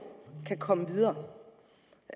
kan komme videre